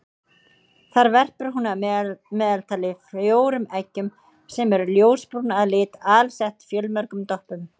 Þar verpir hún að meðaltali fjórum eggjum sem eru ljósbrún að lit alsett fjölmörgum doppum.